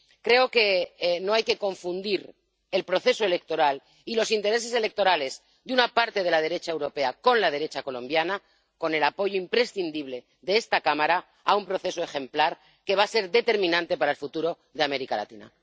Creo que no hay que confundir el proceso electoral y los intereses electorales de una parte de la derecha europea con la derecha colombiana con el apoyo imprescindible de esta Cámara a un proceso ejemplar que va a ser determinante para el futuro de América Latina.